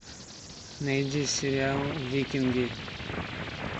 найди сериал викинги